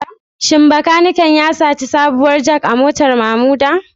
Shin makanikin ya saci sabuwar Jack a motar Mamuda?